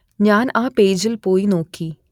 ഞാൻ ആ പേജിൽ പോയി നോക്കി